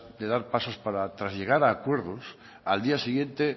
de dar pasos para tras llegar a acuerdos al día siguiente